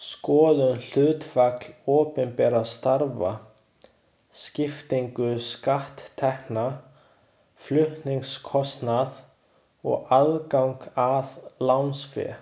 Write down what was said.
Skoðum hlutfall opinberra starfa, skiptingu skatttekna, flutningskostnað og aðgang að lánsfé.